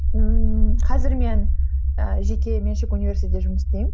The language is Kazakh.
ммм қазір мен ііі жеке меншік университетте жұмыс істеймін